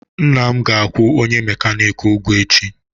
Nna m ga-akwụ onye mekaniki ụgwọ echi.